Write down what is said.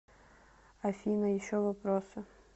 афина еще вопросы